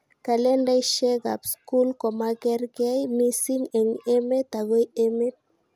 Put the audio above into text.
Kalendaishekab skul komakerke mising eng emet akoi emet